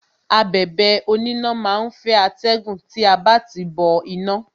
Abẹ̀bẹ̀ oníná má á ń fẹ́ atẹ́gùn tí a bá ti tìí bọ iná.